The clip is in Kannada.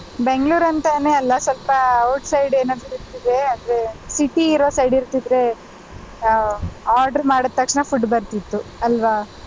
Bangalore ಅಂತಾನೆ ಅಲ್ಲ ಸ್ವಲ್ಪ outside ಏನಾದ್ರು ಇದ್ದಿದ್ರೆ ಅಂದ್ರೆ city ಇರೋ side ಇರ್ತಿದ್ರೆ ಆ order ಮಾಡಿದ ತಕ್ಷಣ food ಬರ್ತಿತ್ತು ಅಲ್ವ.